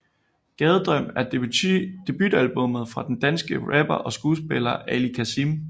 Gadedrøm er debutalbummet fra den danske rapper og skuespiller Ali Kazim